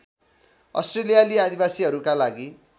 अस्ट्रेलियाली आदिवासीहरूका लागि